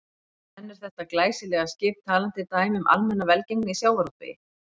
En er þetta glæsilega skip talandi dæmi um almenna velgengni í sjávarútvegi?